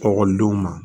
Ekɔlidenw ma